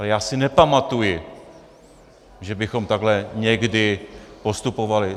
Ale já si nepamatuji, že bychom takhle někdy postupovali.